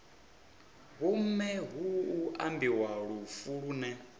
vhomme hu ambiwa lufu lune